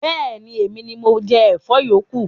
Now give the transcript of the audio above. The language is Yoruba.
Bẹẹni, Emini mo jẹ Ẹ̀fọ́ yókù